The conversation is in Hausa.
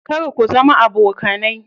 Kar ku zama abokanai.